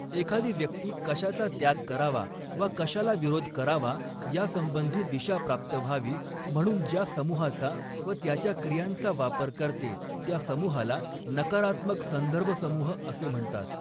एखादी व्यक्ती कशाचा त्याग करावा वा कशाला विरोध करावा यासंबंधी दिशा प्राप्त व्हावी म्हणून ज्या समूहाचा व त्याच्या क्रियांचा वापर करते त्या समूहाला नकारात्मक संदर्भसमूह असे म्हणतात.